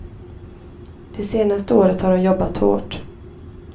Det senaste året har hon jobbat hårt.